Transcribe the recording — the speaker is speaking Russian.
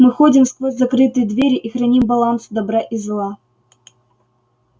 мы ходим сквозь закрытые двери и храним баланс добра и зла